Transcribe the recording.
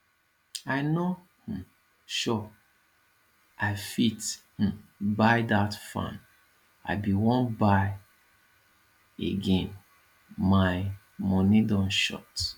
i no um sure i fit um buy that fan i bin wan buy again my money don short